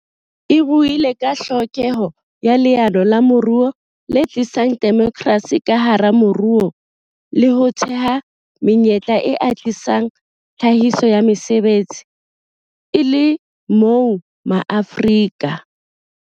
E buile ka tlhokeho ya leano la moruo le tlisang demokrasi ka hara moruo le ho thea menyetla e atlehisang tlhahiso ya mesebetsi, e le moo MaAfrika.